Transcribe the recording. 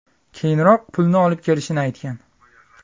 keyinroq pulni olib kelishini aytgan.